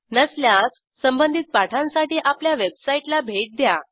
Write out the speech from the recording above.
नसल्यास संबधित पाठांसाठी आपल्या वेबसाईटला भेट द्या